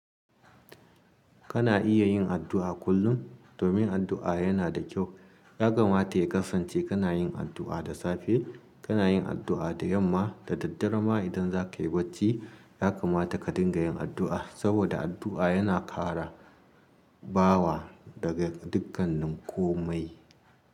Kana iya yin addu'a kullum domin addu'a yana da kyau. Yakamata ya kasance kana yin addu'a da safe, kana yin addu'a da yamma da daddare ma idan zakayi bacci. Yakamata ka dinga yin addu'a saboda addu'a yana kara bawa daga dukkan nin komai.